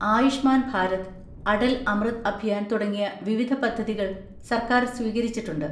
ആയുഷ്മാൻ ഭാരത്, അടൽ അമൃത് അഭിയാൻ തുടങ്ങിയ വിവിധ പദ്ധതികൾ സർക്കാർ സ്വീകരിച്ചിട്ടുണ്ട്.